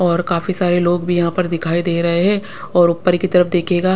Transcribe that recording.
और काफी सारे लोग भी यहाँ पर दिखाई दे रहे हैं और ऊपर की तरफ देखिएगा--